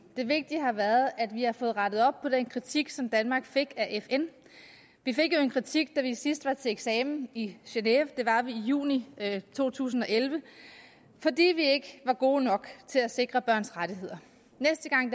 det vigtige har været at vi har fået rettet op på den kritik som danmark fik af fn vi fik jo en kritik da vi sidst var til eksamen i genève det var vi i juni to tusind og elleve fordi vi ikke var gode nok til at sikre børns rettigheder næste gang